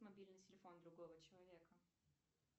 мобильный телефон другого человека